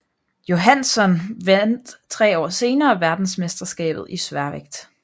Johansson vandt 3 år senere verdensmesterskabet i sværvægt